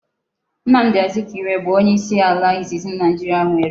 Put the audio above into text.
Nnamdi Azikiwe bu onye isi ala izizi Naijiria nwere